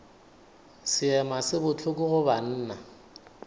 seema se bohloko go banna